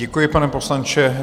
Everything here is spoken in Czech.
Děkuji, pane poslanče.